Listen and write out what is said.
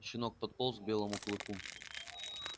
щенок подполз к белому клыку